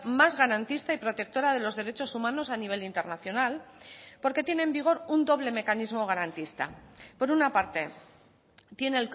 más garantista y protectora de los derechos humanos a nivel internacional porque tiene en vigor un doble mecanismo garantista por una parte tiene